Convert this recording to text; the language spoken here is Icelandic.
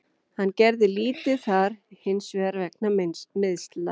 Hann gerði lítið þar hinsvegar vegna meiðsla.